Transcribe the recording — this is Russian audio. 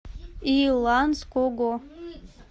иланского